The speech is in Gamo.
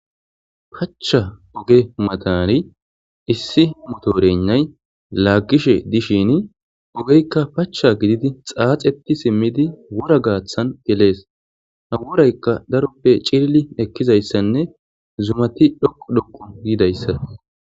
Pacha oge matan issi motoregnay lagishe dishn ogeyka pacha gidid xaaxet simid wora gathan geles. Ha worayka daroppe cilil ekizaysanne zumat dhoqu dhoqu gizaysako